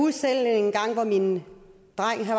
på en en